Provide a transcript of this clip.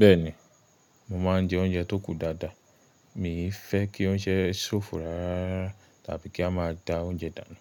Bẹ́ẹ̀ni, mo ma ń jẹ oúnjẹ tó kù dáadáa. Mi ò fẹ́ kí oúnjẹ ṣófo rárá tàbí kí a má a da oúnjẹ dànù.